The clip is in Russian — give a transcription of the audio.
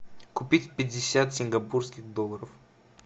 купить пятьдесят сингапурских долларов